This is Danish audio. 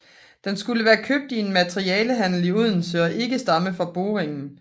Den skulle være købt i en materialehandel i Odense og ikke stamme fra boringen